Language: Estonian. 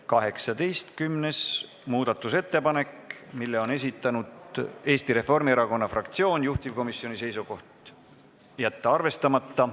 18. muudatusettepaneku on esitanud Eesti Reformierakonna fraktsioon, juhtivkomisjoni seisukoht on jätta see arvestamata.